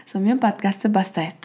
сонымен подкастты бастайық